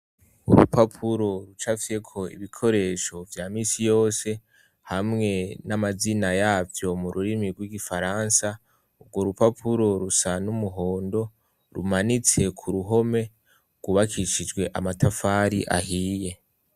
Urupapuro rucafyeko ibikoresho vya misi yose hamwe n'amazina yavyo mururimi rw'igifaransa, urwo rupapuro rusa n'umuhondo, rumanitse ku ruhome rwubakishijwe amatafari ahiye.